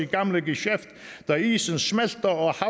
gamle gesjæft da isen smelter